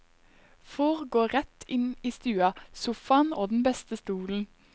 Får gå rett inn i stua, sofaen og den beste stolen.